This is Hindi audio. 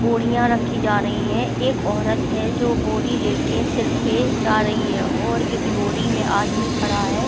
बोरियाँं रखी जा रही हैं एक औरत हैं जो बोरी लेकर सिर पर जा रही है और एक लॉरी में आदमी खड़ा है।